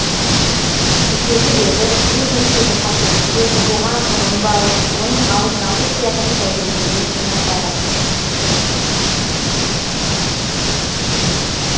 кешелі бері бизнестегі қателіктер оған ұрынбау оның алдын алу сияқты тәжірибелер жинақтадық